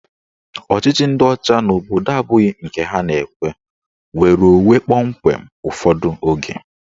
Ọchịchị ndị ọcha n'obodo abụghị nke ha na-ekwe nnwereonwe kpọmkwem ụfọdụ oge.